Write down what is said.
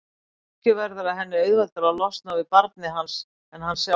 Kannski verður það henni auðveldara að losna við barnið hans en hann sjálfan.